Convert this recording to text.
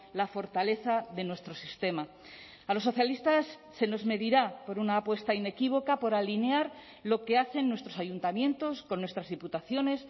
la fortaleza de nuestro sistema a los socialistas se nos medirá por una apuesta inequívoca por alinear lo que hacen nuestros ayuntamientos con nuestras diputaciones